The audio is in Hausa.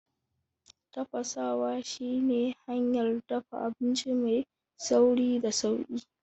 Tafasawa shi ne hanyar dafa abinci mai sauri da sauƙi.